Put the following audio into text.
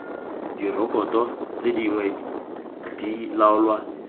direkoto tse dingwe di laolwa